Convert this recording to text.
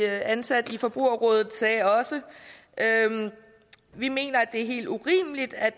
ansat i forbrugerrådet sagde også vi mener at det er helt urimeligt at